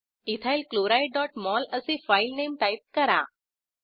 ethyl chlorideमोल असे file name type करा